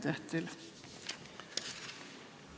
Aitäh teile!